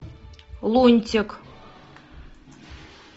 лунтик